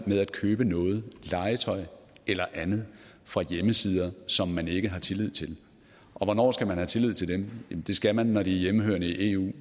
med at købe noget legetøj eller andet fra hjemmesider som man ikke har tillid til og hvornår skal man have tillid til dem det skal man når de er hjemmehørende i eu